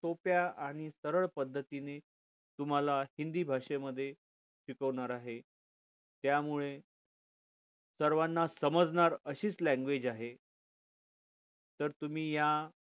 सोप्या आणि सरळ पद्धतीने तुम्हाला हिंदी भाषे मध्ये शिकवणार आहे त्यामुळे सर्वांना समजणार अशीच language आहे तर तुम्ही या